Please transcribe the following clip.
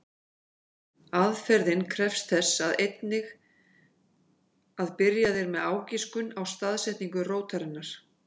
Aðferðin krefst þess einnig að byrjað er með ágiskun á staðsetningu rótarinnar.